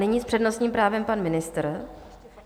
Nyní s přednostním právem pan ministr.